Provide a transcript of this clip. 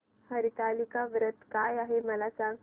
हरतालिका व्रत काय आहे मला सांग